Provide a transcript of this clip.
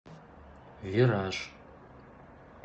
вираж